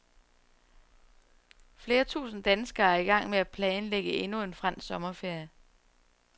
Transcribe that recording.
Flere tusinde danskere er i gang med at planlægge endnu en fransk sommerferie.